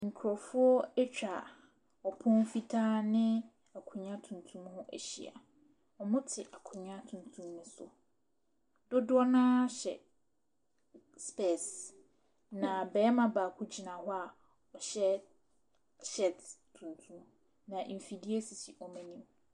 Yɛsiesie kɔkɔɔ a abere gu pono so. Wɔ nkyɛ nso, yɛasiesie mako ne gyeene wɔ apono ahodoɔ so. Edwadifoɔ mmaa tete kyiniiɛ tuntum ase a wɔretɔn nnoɔma ahodoɔ ahdoɔ. Ɔbaatan a ne ba nso bɔ ne bo gyina hɔ.